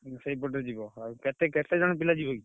ଉଁ ସେଇପଟେ ଯିବ ଆଉ କେତେ କେତେ ଜଣ ପିଲା ଯିବ କି?